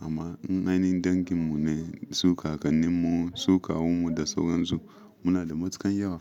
Amma nanin dangin mu ne su kakannin mu, su kawun mu da sauran su. Muna da matukan yawa.